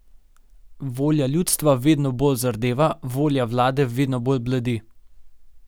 Volja ljudstva vedno bolj zardeva, volja vlade vedno bolj bledi.